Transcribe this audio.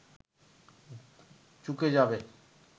চুকে যাবে